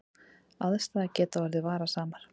Aðstæður geta orðið varasamar